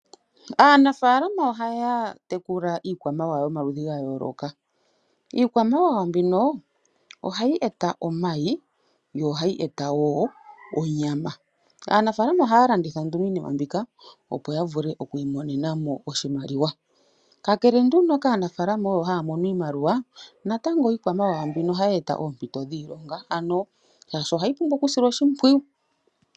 Aanafaalama ohaya tekula iikwamawawa yomaludhi ga yooloka. Iikwamawawa mbino ohayi eta omayi, yo ohayi eta wo onyama. Aanafaalama ohaya landitha nduno iinima mbika, opo ya vule okwiinonena mo oshimaliwa. Kakele nduno kaanafaalama, oyo haya mono iimaliwa, natango iikwamawawa mbino ohayi eta oompito dhiilonga ano, shaashi ohayi pumbwa okusilwa oshimpwiyu.